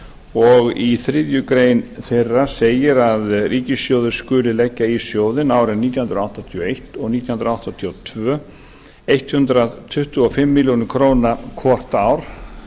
og í þriðju grein þeirra segir að ríkissjóður skuli leggja í sjóðinn árin nítján hundruð áttatíu og eins og nítján hundruð áttatíu og tvö hundrað tuttugu og fimm milljónir króna hvort ár